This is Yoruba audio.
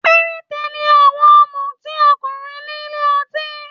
Perete ni àwọn ọmuti ọkùnrin nílé ọtí.